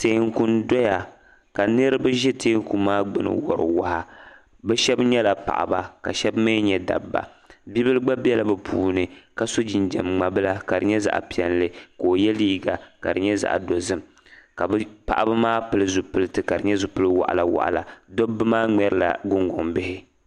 Tɛɛku n doya ka niriba zi tɛɛku maa gbuni n wori waa ni shɛba yɛla paɣaba ka shɛba mi yɛ dabiba bonli gba bɛla bi puuni ka so jinjam mŋa bila ka di yɛ zaɣi piɛlli ka o yiɛ liiga ka di yɛ zaɣi dozim ka bi paɣaba maa pili zupiliti ka di yɛ zupili wɔɣila wɔɣila dobba mŋɛrila guŋgoŋ bihi.